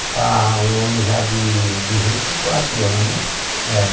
Está um homem já de de vinte e quatro anos.